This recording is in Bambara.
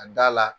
A da la